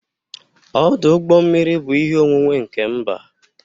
Ọdụ ụgbọ mmiri bụ ihe onwunwe nke mba